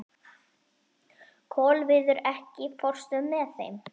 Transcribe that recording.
Kolviður, ekki fórstu með þeim?